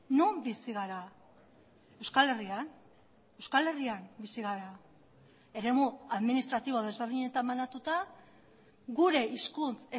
non bizi gara euskal herrian euskal herrian bizi gara eremu administratibo desberdinetan banatuta gure hizkuntz